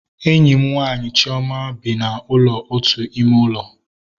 Enyi m nwaanyị Chioma bi na ụlọ otu ime ụlọ